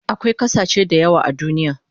Akwai kasashe dayawa a duniya